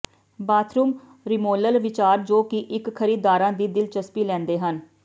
bathroom remodel ਵਿਚਾਰ ਜੋ ਕਿ ਇੱਕ ਖਰੀਦਦਾਰਾਂ ਦੀ ਦਿਲਚਸਪੀ ਲੈਂਦੇ ਹਨ